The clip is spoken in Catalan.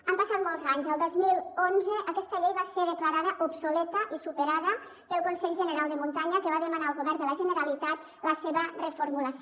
han passat molts anys al dos mil onze aquesta llei va ser declarada obsoleta i superada pel consell general de muntanya que va demanar al govern de la generalitat la seva reformulació